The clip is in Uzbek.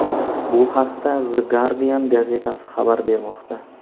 Bu haqda The Guardian gazetasi xabar bermoqda .